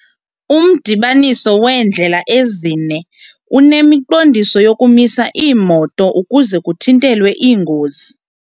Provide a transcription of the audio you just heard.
Umdibaniso weendlela ezine unemiqondiso yokumisa iimoto ukuze kuthintelwe iingozi.